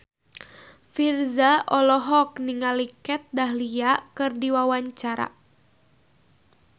Virzha olohok ningali Kat Dahlia keur diwawancara